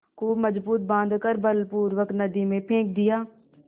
खूब मजबूत बॉँध कर बलपूर्वक नदी में फेंक दिया